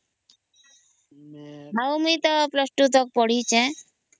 ଆଉ ମୁଇ ତ ପ୍ଲସ ତୁ ତକ ପଢ଼ିଛେ